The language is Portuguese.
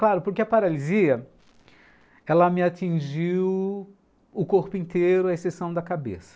Claro, porque a paralisia, ela me atingiu o corpo inteiro, a exceção da cabeça.